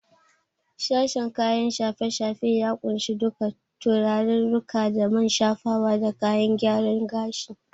Sashen kayan shafe-shafe ya kunshi duka turarirruka da man shafawa da kayan gyaren gashi.